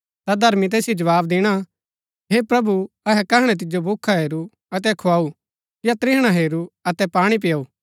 ता धर्मी तैसिओ जवाव दिणा हे प्रभु अहै कहणै तिजो भूखा हेरू अतै खुआऊ या त्रिहणा हेरू अतै पाणी पिआऊ